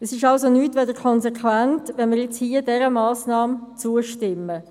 Es ist also nichts anderes als konsequent, wenn wir dieser Massnahme zustimmen.